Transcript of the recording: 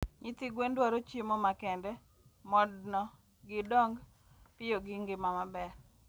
Nyithi gwen dwaro chiemo makende modno gidong piyo gi ngima maber